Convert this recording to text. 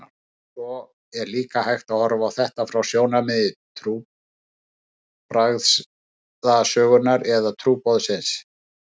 Svo er líka hægt að horfa á þetta frá sjónarmiði trúarbragðasögunnar eða trúboðsins.